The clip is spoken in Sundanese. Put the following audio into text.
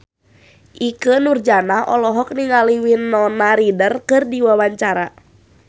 Ikke Nurjanah olohok ningali Winona Ryder keur diwawancara